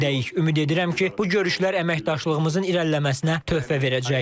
Ümid edirəm ki, bu görüşlər əməkdaşlığımızın irəliləməsinə töhfə verəcək.